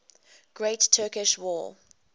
great turkish war